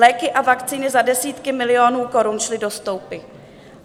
Léky a vakcíny za desítky milionů korun šly do stoupy.